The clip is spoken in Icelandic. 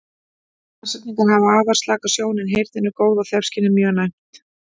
Nashyrningar hafa afar slaka sjón en heyrnin er góð og þefskynið mjög næmt.